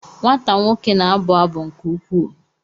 Nwata nwoke na-abụ abụ nke ukwuu?